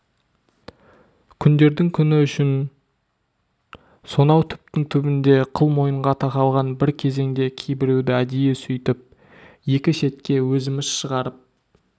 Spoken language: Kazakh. күндердің күні үшің сонау түптің түбінде қыл мойынға тақалған бір кезеңде кейбіреуді әдейі сөйтіп екі шетке өзіміз шығарып